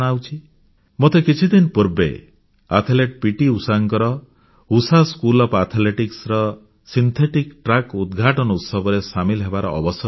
ମୋତେ କିଛିଦିନ ପୂର୍ବେ ଆଥଲେଟ୍ ପିଟି ଉଷାଙ୍କର ଉଷା ସ୍କୁଲ ଓଏଫ୍ ଆଥଲେଟିକ୍ସ ର ସିନ୍ଥେଟିକ୍ ଟ୍ରାକ୍ ଉଦ୍ଘାଟନୀ ଉତ୍ସବରେ ସାମିଲ ହେବାର ଅବସର ମିଳିଥିଲା